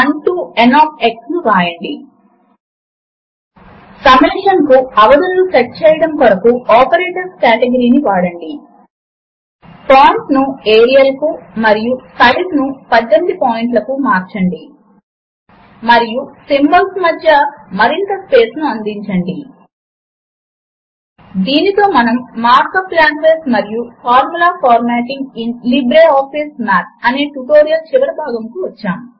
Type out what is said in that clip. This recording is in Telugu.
4 డివైడెడ్ బై 4 1 మీ ఫార్ములా మధ్యలో ఒక ఖాళీ లైనును ఎంటర్ చేయటానికి న్యూ లైన్ మార్క్ అప్ ను ఉపయోగించండి A బూలియన్ మరియు b 4 is greater than 3 X దాదాపుగా y కి సమానం మరియు 4 3 కి సమానం కాదు దీనితో మనము లిబ్రే ఆఫీస్ మాథ్ పరిచయము మరియు ఫార్ములా ఎడిటర్ అనే ట్యుటోరియల్ చివరకు వచ్చేసాము